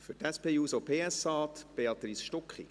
Für die SP-JUSO-PSA-Fraktion spricht Béatrice Stucki.